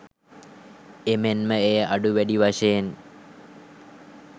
එමෙන්ම එය අඩු වැඩි වශයෙන්